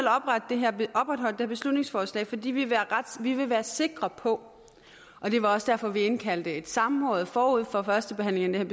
opretholdt det her beslutningsforslag fordi vi vi vil være sikre på og det var også derfor vi indkaldte til et samråd forud for førstebehandlingen